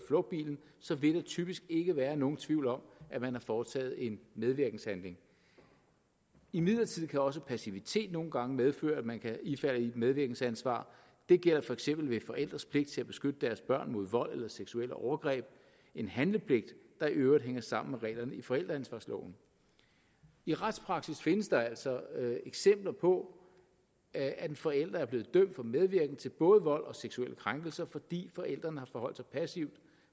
flugtbilen så vil der typisk ikke være nogen tvivl om at man har foretaget en medvirkenshandling imidlertid kan også passivitet nogle gange medføre at man kan ifalde et medvirkensansvar det gælder for eksempel ved forældres pligt til at beskytte deres børn mod vold eller seksuelle overgreb en handlepligt der i øvrigt hænger sammen med reglerne i forældreansvarsloven i retspraksis findes der altså eksempler på at en forælder er blevet dømt for medvirken til både vold og seksuelle krænkelser fordi forælderen har forholdt sig passiv